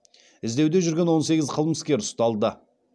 іздеуде жүрген он сегіз қылмыскер ұсталды